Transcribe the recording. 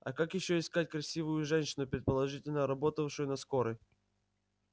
а как ещё искать красивую женщину предположительно работавшую на скорой